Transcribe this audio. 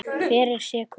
Hver er sekur?